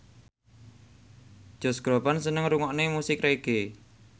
Josh Groban seneng ngrungokne musik reggae